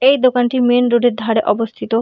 এই দোকানটি main road -এ ধারে অবস্থিত।